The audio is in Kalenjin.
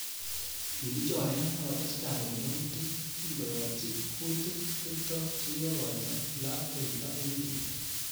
Kikichoren akotestai koek yautik kingoyatchi kutik Kiptoo chekikoito lapkeita eng beet